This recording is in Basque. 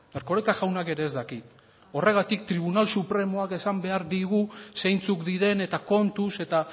erkoreka jaunak ere ez daki horregatik tribunal supremoak esan behar digu zeintzuk diren eta kontuz eta